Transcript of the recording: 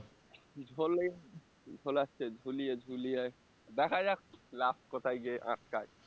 ঝোলে ঝোলাচ্ছে ঝুলিয়ে ঝুলিয়ে দ্যাখা যাক last কোথায় গিয়ে আটকায়